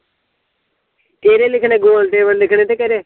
ਕਿਹੜੇ ਲਿਖਣੇ ਗੋਲ table ਲਿਖਣੇ ਤੇ ਕਿਹੜੇ